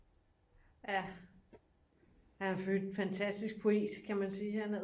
Ja han er for øvrigt en fantastisk poet kan man sige han er